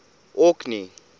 orkney